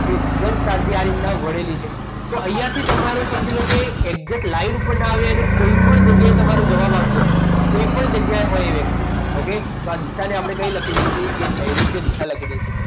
એ ઉદગમ સ્થાનથી આવી રીતના વળેલી છે તો અહીંયા થી તમારે સમજી લો કે એકઝેટ last movement લાઈન ઉપર ના આવે અને કોઈપણ જગ્યાએ તમારે જવાબ આવતો હશે કોઈપણ જગ્યાએ હોય વ્યક્તિ okay તો આ દિશાને આપણે કઈ લખી દઈશું એ નૈઋત્ય દિશા લખી દઈશું